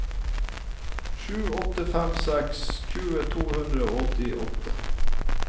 sju åtte fem seks tjue to hundre og åttiåtte